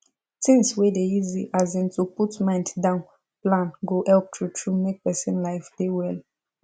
things wey dey easy as in to put mind down plan go help true true make person life dey well